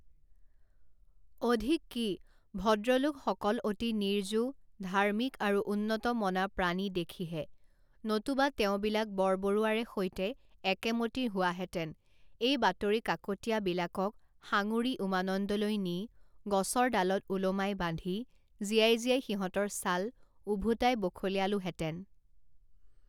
অধিক কি, ভদ্ৰলোকসকল অতি নিৰ্জু, ধাৰ্মিক আৰু উন্নতমনা প্ৰাণী দেখিহে, নতুবা তেওঁবিলাক বৰবৰুৱাৰে সৈতে একেমতি হোৱাহেঁতেন, এই বাতৰি কাকতীয়াবিলাকক সাঙুৰি উমানন্দলৈ নি, গছৰ ডালত ওলোমাই বান্ধি, জীয়াই জীয়াই সিহঁতৰ ছাল ওভোতাই বখলিয়ালোহেঁতেন।